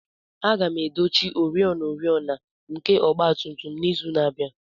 Aga m edochi oriọna oriọna nke ọgba tum tum n'izu na-abịa.